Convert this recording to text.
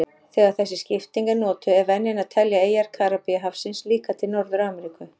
Þegar þessi skipting er notuð er venjan að telja eyjar Karíbahafsins líka til Norður-Ameríku.